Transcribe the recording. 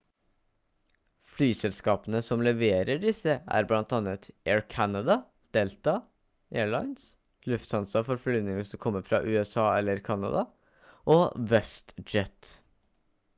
flyselskapene som leverer disse er blant annet air canada delta air lines lufthansa for flyvninger som kommer fra usa eller canada og westjet